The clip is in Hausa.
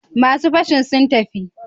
Masu fashin sun tafi?